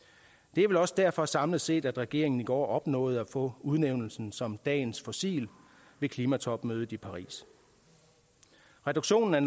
det er vel også derfor samlet set at regeringen i går opnåede at få udnævnelsen som dagens fossil ved klimatopmødet i paris reduktionen af